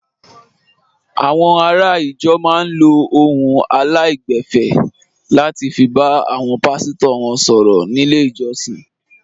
Àwọn ará ìjọ máa ń lo ohùn aláìgbẹ̀fẹ̀ láti fi bá àwọn pàsítọ̀ wọn sọ̀rọ̀ nílé ìjọsìn.